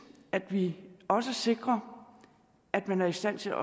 at vi også sikrer at man er i stand til